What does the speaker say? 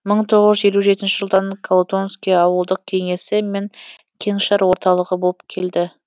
мың тоғыз жүз елу жетінші жылдан колутонский ауылдық кеңесі мен кеңшар орталығы болып келді